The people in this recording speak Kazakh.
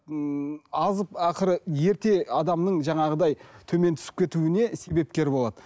ммм азып ақыры ерте адамның жаңағыдай төмен түсіп кетуіне себепкер болады